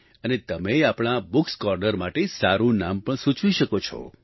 અને તમે આપણા આ bookએસ કોર્નર માટે સારું નામ પણ સૂચવી શકો છો